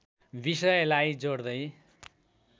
विषयलाई जोड्दै